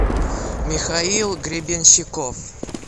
михаил гребенщиков